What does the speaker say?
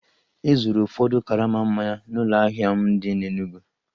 E zuuru ụfọdụ karama mmanya n'ụlọ ahịa m dị n'Enugwu